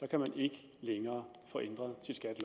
kan man ikke længere få ændret